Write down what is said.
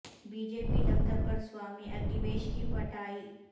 be J P دفتر پر سوامی اگنیویش کی پٹائی